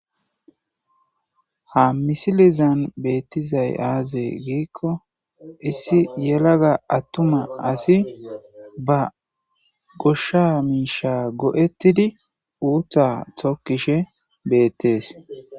ha misilizan beettizay aaze giikko issi yelaga attuma asi ba goshsha miisha go7ettidi uutta tokkishe beettees